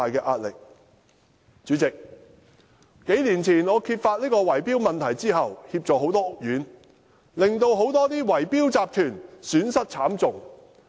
代理主席，我在數年前揭發圍標問題後，協助了很多屋苑，令很多圍標集團損失慘重。